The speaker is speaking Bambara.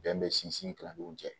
Bɛn bɛ sinsin kilew cɛ